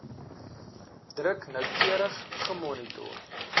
druk noukeurig gemonitor